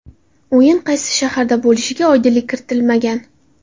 O‘yin qaysi shaharda bo‘lishiga oydinlik kiritilmagan.